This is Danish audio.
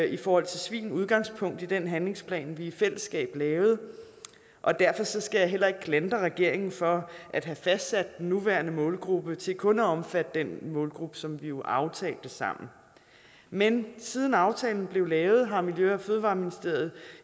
i forhold til svin udgangspunkt i den handlingsplan vi i fællesskab lavede og derfor skal jeg heller ikke klandre regeringen for at have fastsat den nuværende målgruppe til kun at omfatte den målgruppe som vi jo aftalte sammen men siden aftalen blev lavet har miljø og fødevareministeriet